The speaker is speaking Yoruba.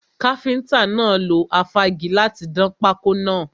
Káfíntà náà lo afági láti dán pákọ́ náà.